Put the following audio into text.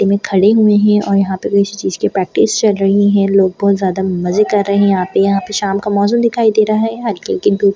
इनमे खड़े हुए है और यहाँ पे किसी चीज़ की प्रैक्टिस चल रही है लोंग बहुत ज़्यादा मज़े कर यहाँ पे यहाँ पे शाम का मौसम दिखाई दे रहा है हल्की हल्की धूप --